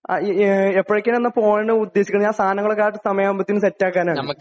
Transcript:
ങാ..എപ്പഴത്തേക്കാണെന്നാ അപ്പൊ പോകാൻ ഉദ്ദേശിക്കണെ? ഞാൻ സാധനങ്ങളുമായിട്ട് സമയമാകുമ്പോ സെറ്റ് ആക്കാനാണ്..